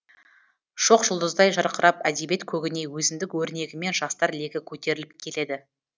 шоқ жұлдыздай жарқырап әдебиет көгіне өзіндік өрнегімен жастар легі көтеріліп келеді